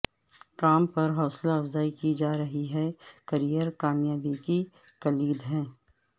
کام پر حوصلہ افزائی کی جا رہی ہے کیریئر کامیابی کی کلید ہے